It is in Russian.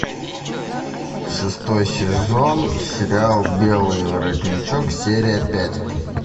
шестой сезон сериал белый воротничок серия пять